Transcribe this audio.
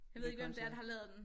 Hvilken kunstner